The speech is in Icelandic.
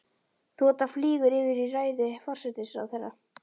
Þota flýgur yfir í ræðu forsætisráðherra.